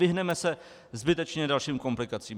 Vyhneme se zbytečně dalším komplikacím.